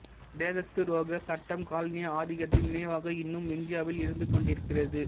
தேசத்துரோகச் சட்டம் காலனிய ஆதிக்கத்தின் நினைவாக இன்னும் இந்தியாவில் இருந்து கொண்டிருக்கிறது